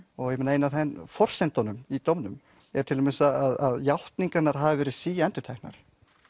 ein að forsendunum í dómnum er til dæmis að játningarnar hafi verið síendurteknar